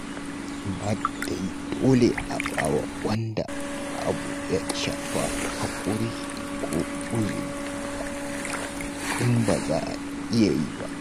Amma dai dole a ba wa wanda abu ya shafa haƙuri ko uzuri, in ba za a iya yi ba.